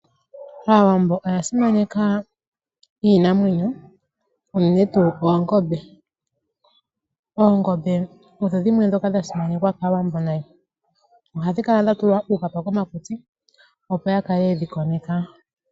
Aawambo oya simaneka iinamwenyo unene tuu oongombe. Oongombe odho dhimwe dhoka dha simanekwa kAawambo nayi, ohadhi kala dha tulwa uupapa komakutsi opo ya kale ye dhi koneka.